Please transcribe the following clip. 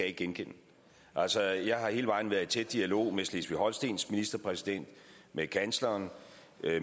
ikke genkende altså jeg har hele vejen været i tæt dialog med slesvig holstens ministerpræsident med kansleren